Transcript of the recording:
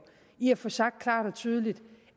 i at få sagt klart og tydeligt